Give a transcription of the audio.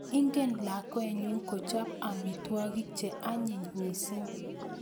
Ingen lakwenyu kochop amitwogik che anyiny mising